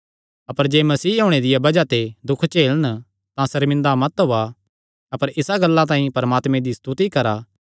अपर जे मसीह होणे दिया बज़ाह ते दुख झेलन तां सर्मिंदा मत होएया अपर इसा गल्ला तांई परमात्मे दी स्तुति करा